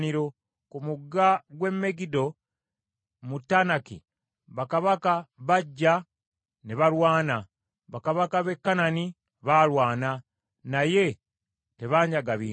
“Ku mugga gw’e Megiddo mu Taanaki, bakabaka bajja ne balwana, bakabaka b’e Kanani baalwana. Naye tebaanyaga bintu.